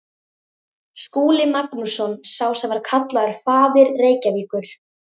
Skúli Magnússon, sá sem var kallaður faðir Reykjavíkur.